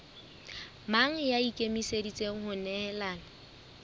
mang ya ikemiseditseng ho nehelana